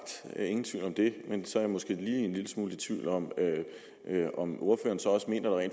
ingen tvivl om det men så er jeg måske lige en lille smule i tvivl om om ordføreren så også mener at